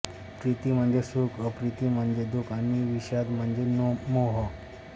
प्रीति म्हणजे सुख अप्रीति म्हणजे दुख आणि विषाद म्हणजे मोह